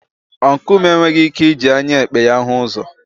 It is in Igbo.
Ọncụl m enweghị ike iji anya ekpe ya hụ ụzọ.